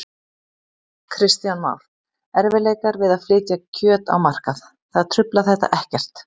Kristján Már: Erfiðleikar við að flytja kjöt á markað, það truflar þetta ekkert?